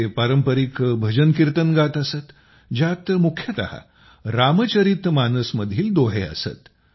ते पारंपरिक भजन कीर्तनं गात असत ज्यात मुख्यतः रामचरित मानसमधील दोहे असत